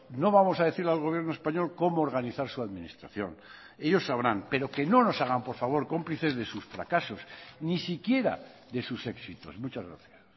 no vamos a decirle al gobierno español cómo organizar su administración ellos sabrán pero que no nos hagan por favor cómplices de sus fracasos ni siquiera de sus éxitos muchas gracias